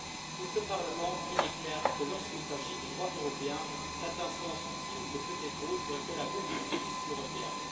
Pour ce Parlement, il est clair que lorsqu'il s'agit de droit européen, cette instance ultime ne peut être autre que la Cour de justice européenne.